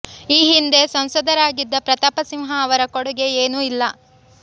ಈ ಹಿಂದೆ ಸಂಸದರಾಗಿದ್ದ ಪ್ರತಾಪ ಸಿಂಹ ಅವರ ಕೊಡುಗೆ ಏನೂ ಇಲ್ಲ